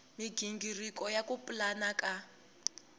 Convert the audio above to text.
migingiriko ya ku pulana ka